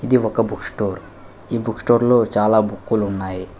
ఒక book store ఈ book store లో చాలా బుక్కులు ఉన్నాయి.